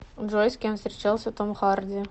джой с кем встречался том харди